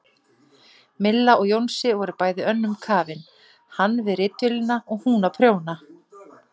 Milla og Jónsi voru bæði önnum kafin, hann við ritvélina, hún að prjóna.